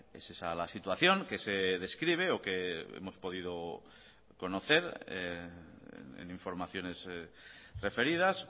es esa la situación que se describe o que hemos podido conocer en informaciones referidas